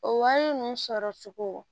O wari ninnu sɔrɔcogo